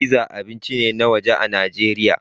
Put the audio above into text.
Pizza abinci ne na waje a nan Najeriya